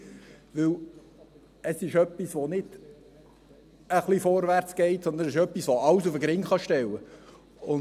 Denn es ist nicht etwas, das ein wenig vorwärts geht, sondern etwas, das alles auf den Kopf stellen kann.